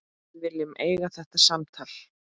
Við viljum eiga þetta samtal.